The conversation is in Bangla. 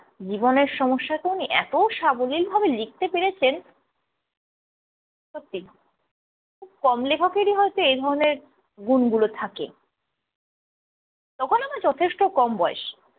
জীবনের সমস্যাকে ওনি এত সাবলীলভাবে লিখতে পেরেছেন, সত্যি, খুব কম লেখকের হয়ত এই ধরনের গুণগুলো থাকে। তখন আমার যথেষ্ঠ কম বয়স।